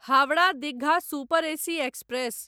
Howrah Digha super AC express